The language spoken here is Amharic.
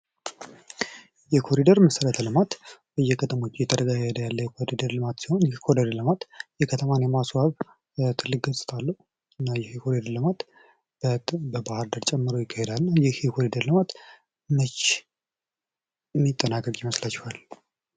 የኮሪደር መሰረተ ልማት በየከተሞች እየተካሄደ ያለ የኮሪደር ልማት ሲሆን ይህ የኮሪደር ልማት ከተሞችን የማስዋብ ትልቅ ገፅታ አለው። እና ይሄ የኮሪደር ልማት በባህርዳር ጨምሮ ይካሄዳልና ይህ የኮሪደር ልማት መች የሚጠናቀቅ ይመስላችኋል?